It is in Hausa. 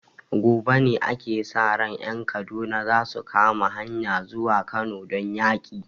Gobe ne ake sa ran ƴan Kaduna zasu kama hanyan zuwa Kano don yaki